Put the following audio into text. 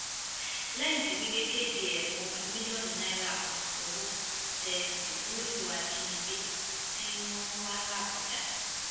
lẹ́yìn tí wike kéde ẹ̀bùn ogún mílíọ̀nù náírà owó tẹ ògbólógbòó ajínigbé tí wọ́n ń wá làbàjá